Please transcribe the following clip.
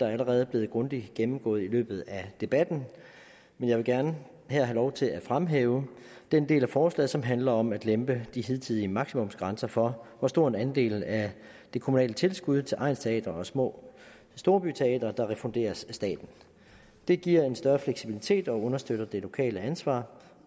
er allerede blevet grundigt gennemgået i løbet af debatten men jeg vil gerne her have lov til at fremhæve den del af forslaget som handler om at lempe de hidtidige maksimumsgrænser for hvor stor en andel af det kommunale tilskud til egnsteatre og små storbyteatre der refunderes af staten det giver en større fleksibilitet og understøtter det lokale ansvar